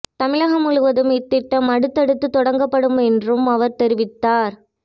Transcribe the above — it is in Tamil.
தமிழகம் முழுவதும் இத்திட்டம் அடுத்தடுத்து தொடங்கப்படும் என்றும் அவர் தெரிவித்தார்